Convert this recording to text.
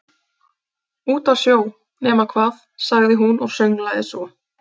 Úti á sjó, nema hvað- sagði hún og sönglaði svo